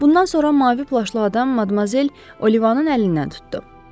Bundan sonra mavi plaşlı adam Madmozel Olivanın əlindən tutdu.